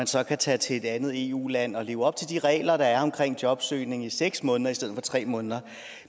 så kan tage til et andet eu land og leve op til de regler der er omkring jobsøgning i seks måneder i stedet for tre måneder